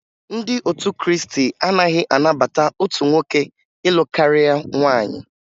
Ndị otu Krịịstị anaghị anabata otu nwoke ịlụ karịa nwaanyị